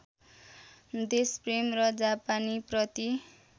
देशप्रेम र जापानीप्रति